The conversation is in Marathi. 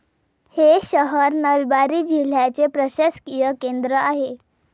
हे शहर नलबारी जिल्ह्याचे प्रशासकीय केंद्र आहे.